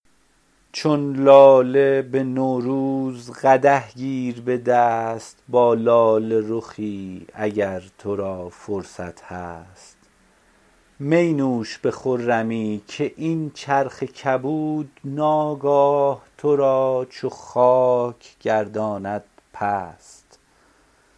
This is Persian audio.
چون لاله به نوروز قدح گیر به دست با لاله رخی اگر تو را فرصت هست می نوش به خرمی که این چرخ کبود ناگاه تو را چو خاک گرداند پست